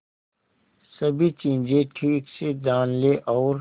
सभी चीजें ठीक से जान ले और